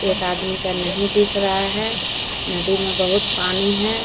एक आदमी का नहीं दिख रहा है नदी में बहुत पानी है।